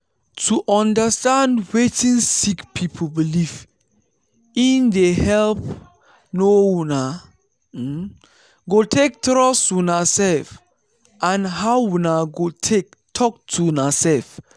to understand wetin sick people belief in dey help how una go take trust una self and how una go take talk to una self.